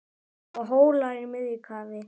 og Hólar í miðju kafi